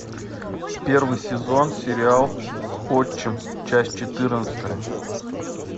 первый сезон сериал отчим часть четырнадцатая